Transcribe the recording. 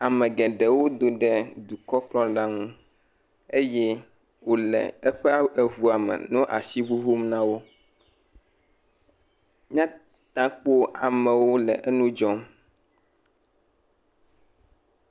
Ame geɖewo do ɖe dukɔkplɔla ŋu eye wole eƒe ŋu me le asi ŋuŋum na wo. Míate ŋu akpɔ amewo le eŋu dzɔ.